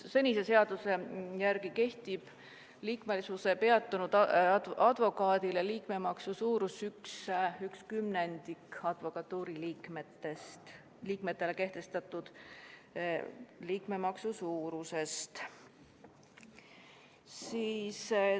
Senise seaduse järgi kehtib advokaadile, kelle liikmesus on peatunud, liikmemaksu suurus üks kümnendik advokatuuri liikmetele kehtestatud liikmemaksu suurusest.